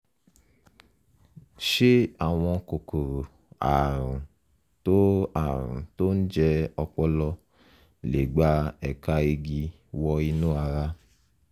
ṣé àwọn kòkòrò ààrùn tó ààrùn tó ń jẹ ọpọlọ lè gba ẹ̀ka igi wọ inú ara?